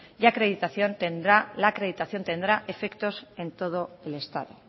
y la acreditación tendrá efectos en todo el estado